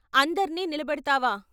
' అందర్నీ నిల బెడతావా?